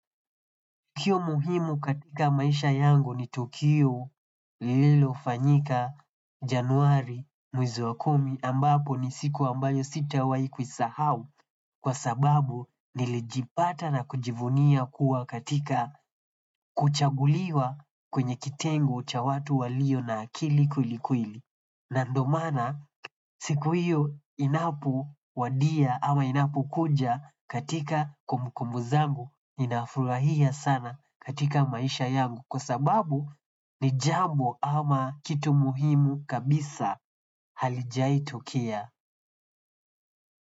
Tukio muhimu katika maisha yangu ni tukio lilofanyika januari mwezi wa kumi ambapo ni siku ambayo sitawahi kuisahau kwa sababu nilijipata na kujivunia kuwa katika kuchaguliwa kwenye kitengo cha watu walio na akili kwelikweli. Na ndio maana siku hiyo inapowadia ama inapokuja katika kumbukumbu zangu ninafurahia sana katika maisha yangu kwa sababu ni jambo ama kitu muhimu kabisa halijaitokea.